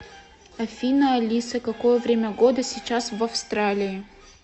афина алиса какое время года сейчас в австралии